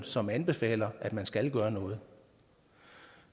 som anbefaler at man skal gøre noget